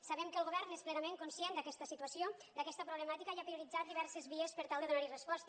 sabem que el govern és plenament conscient d’aquesta situació d’aquesta pro blemàtica i ha prioritzat diverses vies per tal de donar hi resposta